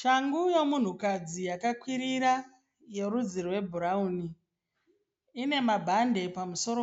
Shangu yomunhukadzi yakakeirira yerudzi rwebhurawuni. Ine mabhande pamusoro.